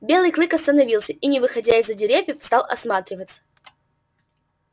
белый клык остановился и не выходя из за деревьев стал осматриваться